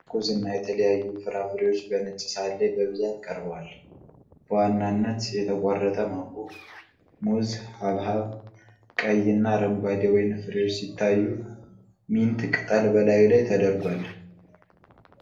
ትኩስ እና የተለያዩ ፍራፍሬዎች በነጭ ሳህን ላይ በብዛት ቀርበዋል። በዋናነት የተቆረጠ ማንጎ፣ ሙዝ፣ ሐብሐብ፣ ቀይና አረንጓዴ ወይን ፍሬዎች ሲታዩ፣ ሚንት ቅጠል በላዩ ላይ ተደርጓል።